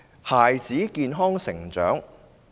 孩子的健康成長......